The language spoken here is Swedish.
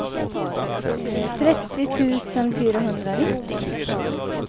trettio tusen fyrahundranittio